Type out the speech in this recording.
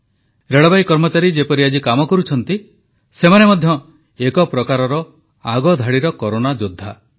ରେଳବାଇ କର୍ମଚାରୀ ଯେପରି ଆଜି କାମ କରୁଛନ୍ତି ସେମାନେ ମଧ୍ୟ ଏକ ପ୍ରକାରର ଆଗଧାଡିର କରୋନା ଯୋଦ୍ଧା